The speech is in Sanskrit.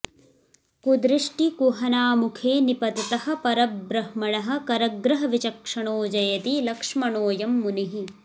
कुदृष्टि कुहनामुखे निपततः परबृह्मणः करग्रहविचक्षणो जयति लक्ष्मणोऽयं मुनिः